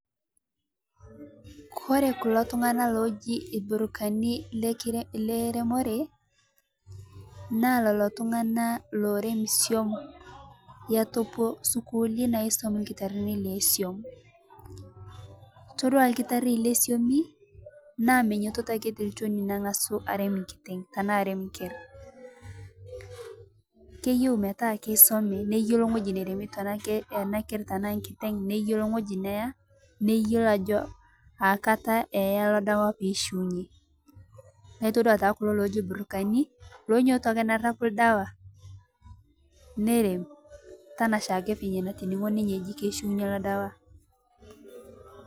Kore kuloo ltung'ana ojii irburukani le reemore naa loloo ltung'ana loreem soum etupoo sukulini naisum lkitaarini le soum. Todua lkitaari le soumii naa mee nyoototo ake te lchooni niang'asu areem nkit'eng tana areem nkeer. Keiyeu meetaa keisomi neiyeloo ng'oji naaremi ana keerr tana nkiteng' neiyeloo ng'oji neaa , neiyeloo ajoo akaata eyaa loo ldawaa pee ishuuinye. Naa itoduaa tana kuloo ojii irburani lonyooto ake neerapuu ldewa nereem tana shaake fenyee natining'o ninyee ejii keishuunye loo ldewa.